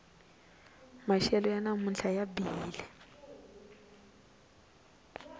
maxelo ya namuntlha ya bihile